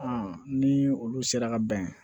ni olu sera ka bɛn